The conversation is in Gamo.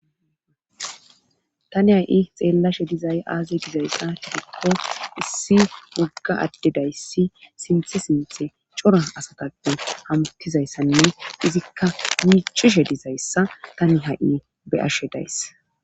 Tani ha'i xeellashe dizay aazey dizayssa hidikko issi wogga addedayssi sinthe sinthe cora asataqan hamuttizayssanne izikka miichishe dizayssa tani ha7i beyashe dayss.